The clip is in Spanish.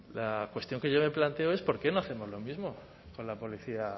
la cuestión que yo me planteo es por qué no hacemos lo mismo con la policía